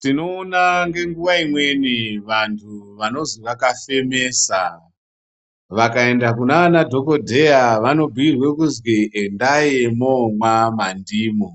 Tinoona ngenguva imweni vantu vanozi vakafemesa vakaenda kunana dhogodheya vanobhuira kuzwi endai momwa mandimu.